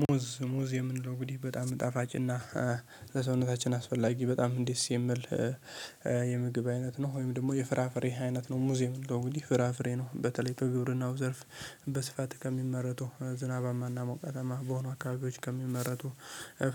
ሙዝ ሙዝ የምንለው እንግዲህ በጣም ጣፋጭና ለሰውነታችን አስፈላጊ በጣም ዴስ የምል የምግብ አይነት ነው ወይም ደግሞ የፍራፍሬ አይነት ነው። ሙዝ የምንለው እንግዲህ ፍራፍሬ ነው በተለይ በግብርናው ዘርፍ በስፋት ከሚመረቱ ዝናባማና ሞቃታማ በሆኑ አካባቢዎች ከሚመረቱ